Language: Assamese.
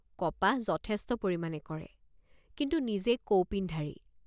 কপাহ যথেষ্ট পৰিমাণে কৰে কিন্তু নিজে কৌপিনধাৰী।